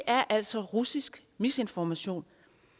er altså russisk misinformation